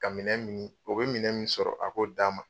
Ka minɛn min ni o bi minɛn min sɔrɔ a k'o d'an ma.